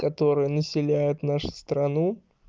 которые населяют нашу страну